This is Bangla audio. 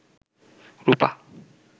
রুপা